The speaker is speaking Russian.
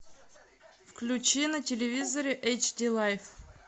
включи на телевизоре эйч ди лайф